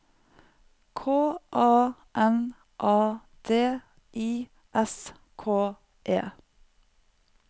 K A N A D I S K E